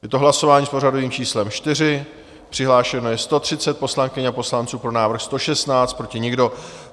Je to hlasování s pořadovým číslem 4, přihlášeno je 130 poslankyň a poslanců, pro návrh 116, proti nikdo.